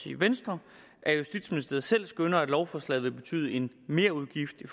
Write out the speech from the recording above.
i venstre at justitsministeriet selv skønner at lovforslaget vil betyde en merudgift i